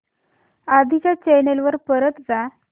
आधी च्या चॅनल वर परत जा